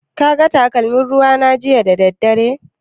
Ka ga takalmin ruwa na jiya da daddare?